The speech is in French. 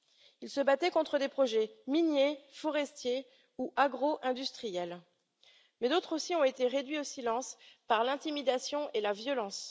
Ils se battaient contre des projets miniers, forestiers ou agro industriels, mais d'autres aussi ont été réduits au silence par l'intimidation et la violence.